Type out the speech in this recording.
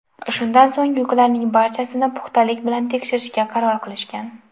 Shundan so‘ng yuklarining barchasini puxtalik bilan tekshirishga qaror qilishgan.